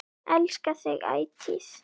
Elska þig ætíð.